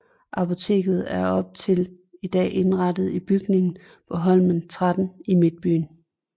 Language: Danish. Apoteket er op til i dag indrettet i bygningen på Holmen 13 i midtbyen